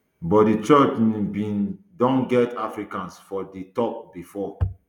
but di church um bin um don get africans for di top bifor